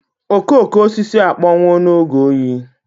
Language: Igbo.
Okooko osisi akpọnwụwo n'oge oyi.